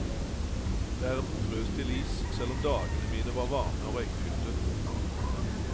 Verden frøs til is, selv om dagene mine var varme og røykfylte.